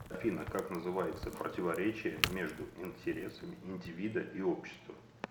афина как называется противоречие между интересами индивида и общества